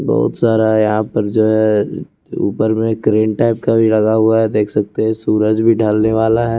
बहुत सारा यहां पर जो है ऊपर में ग्रीन टाइप का भी लगा हुआ है देख सकते हैं सूरज भी डालने वाला है।